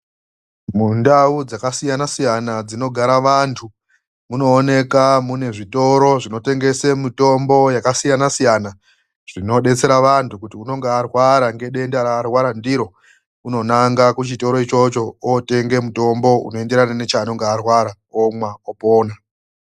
MUNDAU DZAKASIYANA SIYANA DZINOGARA VANTU, MUNOONEKA MUNE ZVITORO ZVINOTENGESE MITOMBO YAKASIYANA SIYANA. ZVINODETSERA VANTU KUTI UNONGA ARWARA NEDENDA RAANENGE ARWARA NDIRO UNONANGA KUCHITORO ICHOCHO OOTENGE MUTOMBO UNOENDERANA NECHAANENGE ARWARA OMWA OPONA